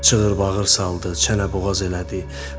Çığır-bağır saldı, çənə-boğaz elədi.